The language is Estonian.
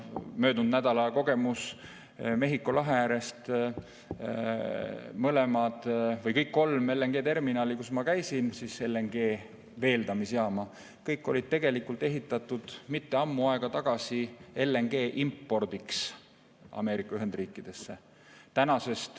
Möödunud nädalal nägin Mehhiko lahe ääres, et kõik kolm LNG-terminali, kus ma käisin, veeldamisjaamad, olid ehitatud üldse mitte palju aega tagasi LNG importimiseks Ameerika Ühendriikidesse.